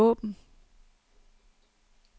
åbn